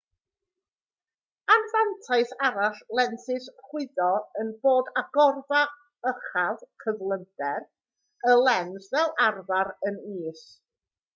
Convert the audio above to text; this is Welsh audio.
anfantais arall lensys chwyddo yw bod agorfa uchaf cyflymder y lens fel arfer yn is